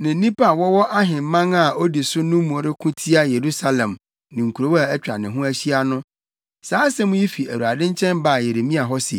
ne nnipa a wɔwɔ ahemman a odi so no mu reko tia Yerusalem ne nkurow a atwa ne ho ahyia no, saa asɛm yi fi Awurade nkyɛn baa Yeremia hɔ se,